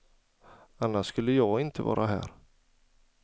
Annars skulle jag inte vara här.